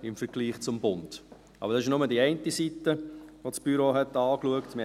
Aber dies ist nur die eine Seite, welche das Büro angeschaut hat.